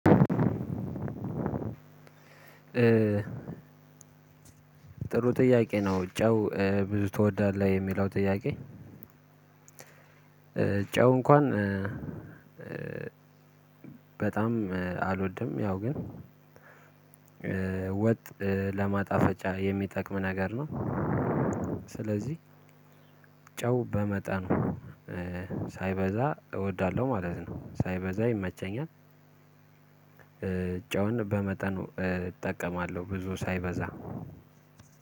ጥሩ ጥያቄ ነው ጨው ብዙ ትወዳለህ የሚለው ጥያቄ? ጨው እንኳን በጣም አልወድም። ያው ግን ወጥ ለማጣፈጫ የሚጠቅም ነገር ነው። ስለዚህ ጨው በመጠኑ ሳይበዛ እወዳለሁ ማለት ነው። ሳይበዛ ይመቸኛል። ጨውን በመጠኑ እጠቀማለሁ ብዙ ሳይበዛ